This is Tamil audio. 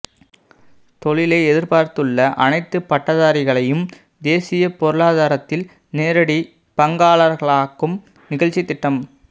தொழிலை எதிர்பார்த்துள்ள அனைத்து பட்டதாரிகளையும் தேசிய பொருளாதாரத்தில் நேரடி பங்காளர்களாக்கும் நிகழ்ச்சித்திட்டம்